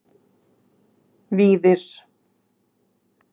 Víðir